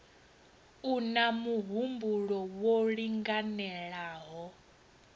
u na muhumbulo wo linganelaho